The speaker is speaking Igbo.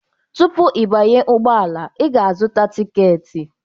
Tupu ịbanye ụgbọala, ị ga-azụta tiketi.